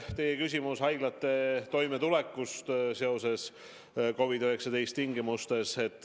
Teie küsimus oli haiglate toimetuleku kohta COVID-19 tingimustes.